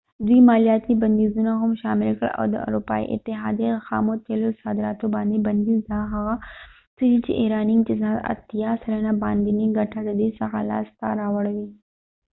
دوي مالیاتی بنديزونه هم شامل کړل او د اروپایې اتحاديی د خامو تیلو صادراتو باندي بنديز دا هغه څه دي چې ایرانی اقتصاد 80 سلنه باندينی ګټه ددې څخه لاس ته راوړی